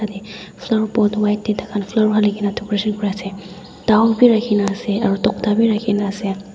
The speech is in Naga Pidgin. yte flower pot white tae takhan flower halikae na decoration kuriase dow birakhina ase aro tokta bi rakhina ase.